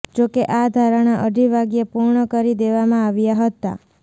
જોકે આ ધરણા અઢી વાગ્યે પૂર્ણ કરી દેવામાં આવ્યા હતા